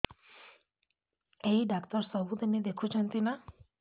ଏଇ ଡ଼ାକ୍ତର ସବୁଦିନେ ଦେଖୁଛନ୍ତି ନା